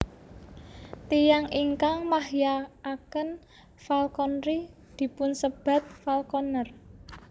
Tiyang ingkang mahyakaken falconry dipunsebat falconer